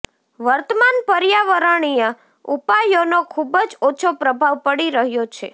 વર્તમાન પર્યાવરણીય ઉપાયોનો ખુબજ ઓછો પ્રભાવ પડી રહ્યો છે